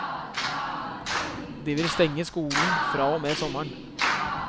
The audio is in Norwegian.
De vil stenge skolen fra og med sommeren.